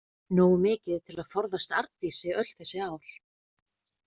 Nógu mikið til að forðast Arndísi öll þessi ár.